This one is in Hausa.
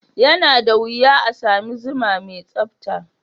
Yana da wuya a sami zuma mai tsabta.